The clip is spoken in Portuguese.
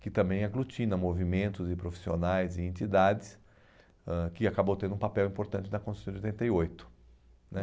que também aglutina movimentos e profissionais e entidades, ãh que acabou tendo um papel importante na Constituição de oitenta e oito, né.